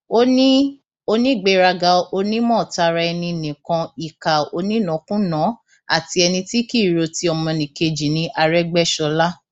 lásìkò tí farouk darí dé láti mọsálásí ni yusuf lọọ ṣàkólú sí i tó sì gún un lọbẹ pa